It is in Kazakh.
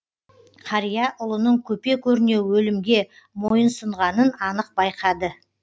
ұлының көпе көрнеу өлімге мойынсұнғанын анық байқады